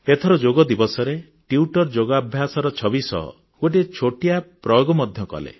ଏଥର ଯୋଗଦିବସରେ ଟ୍ବିଟର ଯୋଗାଭ୍ୟାସର ଛବି ସହ ଗୋଟିଏ ଛୋଟିଆ ପ୍ରୟୋଗ ମଧ୍ୟ କଲେ